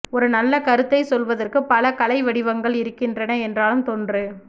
ஒரு நல்ல கருத்தைச் சொல்வதற்கு பல கலை வடிவங்கள் இருக்கின்றன என்றாலும் தொன்று